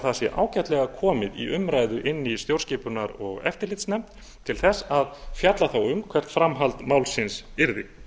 það sé ágætlega komið í umræðu inni í stjórnskipunar og eftirlitsnefnd til þess að fjalla þá um hvert framhald málsins yrði